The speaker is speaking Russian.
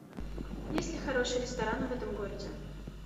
есть ли хорошие рестораны в этом городе